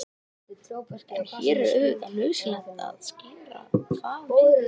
en hér er auðvitað nauðsynlegt að skýra hvað við er átt